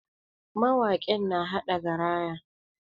Mawakin na haɗa garaya.